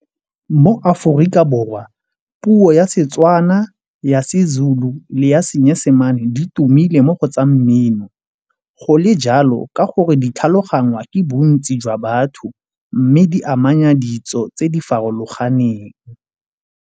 Mo Aforika Borwa puo ya Setswana ya seZulu le ya Seesemane di tumile mo go tsa mmino. Go le jalo ka gore ditlhaloganya ke bontsi jwa batho mme di amanya ditso tse di farologaneng.